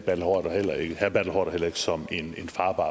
herre bertel haarder heller ikke som en farbar